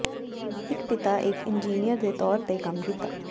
ਇਕ ਪਿਤਾ ਇੱਕ ਇੰਜੀਨੀਅਰ ਦੇ ਤੌਰ ਤੇ ਕੰਮ ਕੀਤਾ